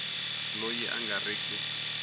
loyi a nga ri ki